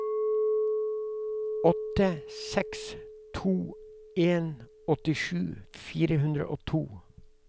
åtte seks to en åttisju fire hundre og to